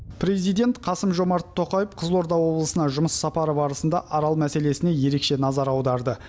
президент қасым жомарт тоқаев қызылорда облысына жұмыс сапары барысында арал мәселесіне ерекше назар аударды